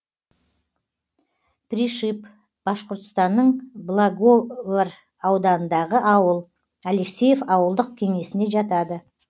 пришиб башқұртстанның благовар ауданындағы ауыл алексеев ауылдық кеңесіне жатады